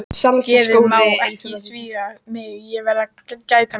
Geðið má ekki svíkja mig, ég verð að gæta mín.